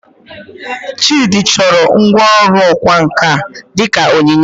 Chidi chọrọ ngwá ọrụ ọkwá nkà dị ka onyinye